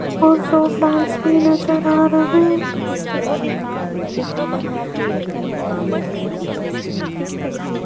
और show plants भी नजर आ रहे हैं।